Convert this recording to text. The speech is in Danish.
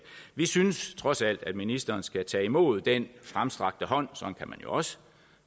vi synes trods alt at ministeren skal tage imod den fremstrakte hånd sådan kan man jo også